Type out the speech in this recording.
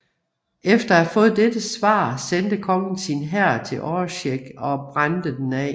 Efter at have fået dette svar sendte kongen sin hær til Oreshek og brændte den af